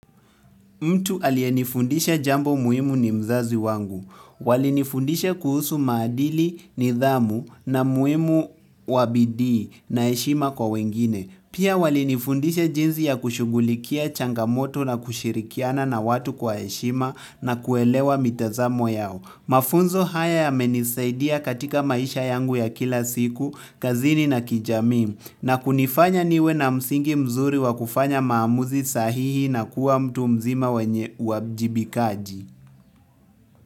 Mtu aliyenifundisha jambo muhimu ni mzazi wangu. Walinifundisha kuhusu maadili, nidhamu na umuhimu wa bidii na heshima kwa wengine. Pia walinifundisha jinsi ya kushughulikia changamoto na kushirikiana na watu kwa heshima na kuelewa mitazamo yao. Mafunzo haya yamenisaidia katika maisha yangu ya kila siku, kazini na kijamii, na kunifanya niwe na msingi mzuri wa kufanya maamuzi sahihi na kuwa mtu mzima mwenye uwajibikaji.